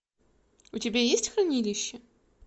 у тебя есть хранилище